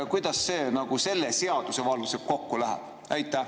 Kuidas see selle seadusega kokku läheb?